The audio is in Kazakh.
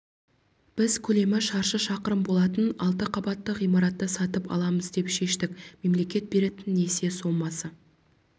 біз көлемі шаршы шақырым болатын алты қабатты ғимаратты сатып аламыз деп шештік мемлекет беретін несие сомасы